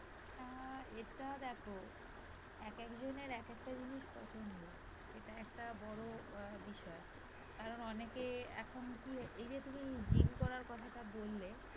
অ্যাঁ এটা দেখো একেকজনের একটা জিনিস পছন্দ সেটা একটা বড় অ্যাঁ বিষয় কারণ অনেকে এখন কি হ~ এই যে তুমি gym করার কথাটা বললে